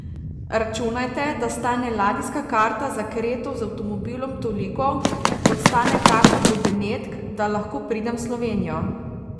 Računajte, da stane ladijska karta za Kreto z avtomobilom toliko, kot stane karta do Benetk, da lahko pridem v Slovenijo.